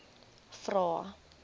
vvvvrae